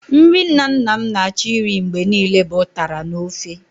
Nri nna nna m na-achọ irí mgbe niile bụ ụtara n'ofe.